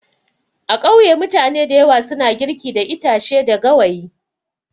A kauye mutane dayawa suna girki da itache da gawayi.